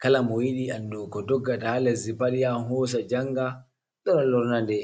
kala moyiɗi andugo ko doggata ha lesdi pat yahan hosa njanga lora lornade.